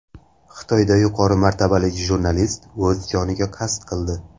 Xitoyda yuqori martabali jurnalist o‘z joniga qasd qildi.